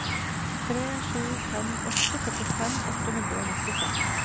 tre sju fem åtte førtifem åtte hundre og nittiseks